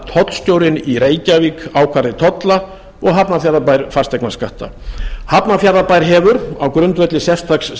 tollstjórinn í reykjavík ákvæði tolla og hafnarfjarðarbær fasteignaskatta hafnarfjarðarbær hefur á grundvelli sérstaks